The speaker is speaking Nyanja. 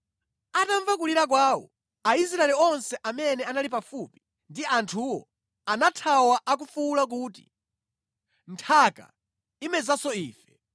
Atamva kulira kwawo, Aisraeli onse amene anali pafupi ndi anthuwo anathawa akufuwula kuti, “Nthaka imezanso ife!”